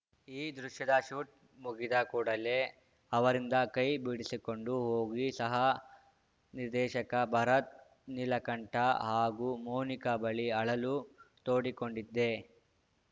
ಈ ದೃಶ್ಯದ ಶೂಟ್‌ ಮುಗಿದ ಕೂಡಲೇ ಅವರಿಂದ ಕೈ ಬಿಡಿಸಿಕೊಂಡು ಹೋಗಿ ಸಹ ನಿರ್ದೇಶಕ ಭರತ್‌ ನೀಲಕಂಠ ಹಾಗೂ ಮೋನಿಕಾ ಬಳಿ ಅಳಲು ತೋಡಿಕೊಂಡಿದ್ದೆ